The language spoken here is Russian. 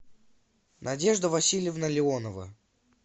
надежда васильевна леонова